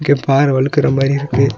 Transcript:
இங்க பாற வழுக்குற மாரி இருக்கு.